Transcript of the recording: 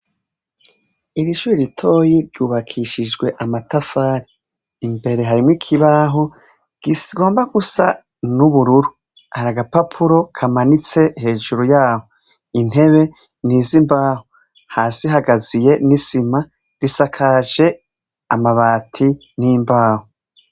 Iri shure ritoyi ryubakishijwe amatafari. Imbere harimwo ikibaho kigomba gusa n'ubururu. Hari agapapuro kamanitse hejuru yaho. Intebe ni iz'imbaho. Hasi hagaziye n'isima, risakaje amabati n'imbaho.